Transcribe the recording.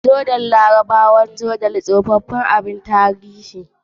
Jordan, al'ummar Larabawa da ke gabashin gabar kogin Jordan, an bayyana su ta tsoffin abubuwan tarihi.